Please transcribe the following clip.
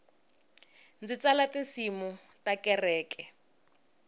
ndzi tsala tinsimu ta kereke